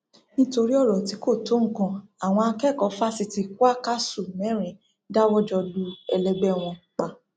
nítorí ọrọ tí kò tó nǹkan àwọn akẹkọọ fásitì kwakásù mẹrin dáwọ jọ lu ẹlẹgbẹ wọn pa